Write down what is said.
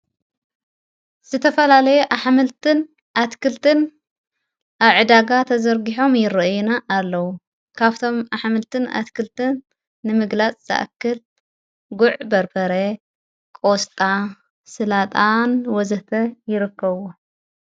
ዝተፈላለየ ኣኅምልትን ኣትክልትን ኣብዕዳጋ ተዘርጊሖም ይርአና ኣለዉ ካብቶም ኣኅምልትን ኣትክልትን ንምግላጽ ዘኣክል ጉዕ በርበረ ቆስጣ ሥላጣን ወዘተ ይረከዎ።